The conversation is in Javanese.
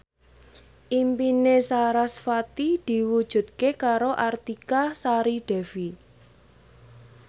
impine sarasvati diwujudke karo Artika Sari Devi